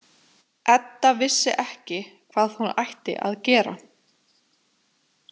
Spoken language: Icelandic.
Edda vissi ekki hvað hún ætti að gera.